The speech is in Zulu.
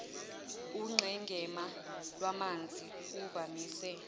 unqenqema lwamanzi kuvamise